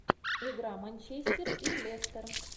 игра манчестер и лестер